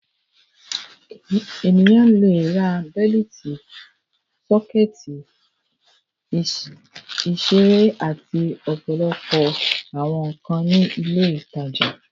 Ènìyàn le ra bẹ́lítì, sọ́kẹ́tì, ìṣeré àti ọ̀pọ̀lọpọ̀ àwọn nǹkan ní ilé-ìtajà.